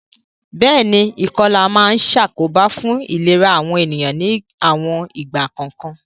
Béèni, ìkolà ma n sàkóbá fun ìlera àwon ènìyàn ni àwon ìgbà kòkan